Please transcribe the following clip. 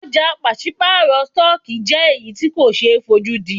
Ọ̀jà pàṣípàrọ̀ stọọkí jẹ́ èyí tí ko ṣe é fojúdí.